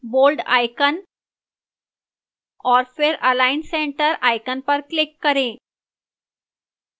bold icon और फिर align center icon पर click करें